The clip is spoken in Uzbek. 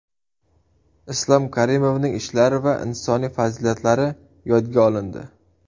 Islom Karimovning ishlari va insoniy fazilatlari yodga olindi.